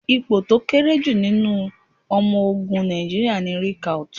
Ipò tó kéré jù nínú ọmọ ogun Nàìjíríà ni Recruit.